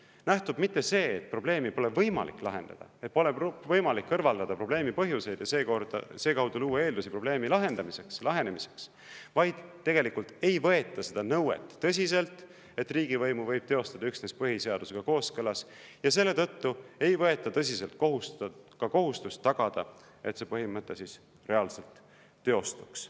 Ei nähtu mitte see, et probleemi pole võimalik lahendada, et pole võimalik kõrvaldada probleemi põhjuseid ja sedakaudu luua eeldusi probleemi lahendamiseks, vaid tegelikult ei võeta seda nõuet tõsiselt, et riigivõimu võib teostada üksnes põhiseadusega kooskõlas, ja selle tõttu ei võeta tõsiselt ka kohustust tagada, et see põhimõte reaalselt teostuks.